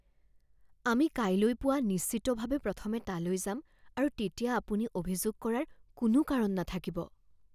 আমি কাইলৈ পুৱা নিশ্চিতভাৱে প্ৰথমে তালৈ যাম আৰু তেতিয়া আপুনি অভিযোগ কৰাৰ কোনো কাৰণ নাথাকিব